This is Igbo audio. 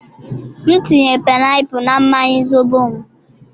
m tinye painiapulu na mmanya zobo m